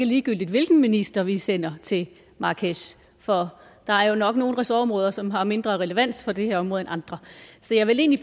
ligegyldigt hvilken minister vi sender til marrakech for der er jo nok nogle ressortområder som har mindre relevans for det her område end andre så jeg vil egentlig